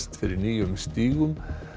fyrir nýjum stígum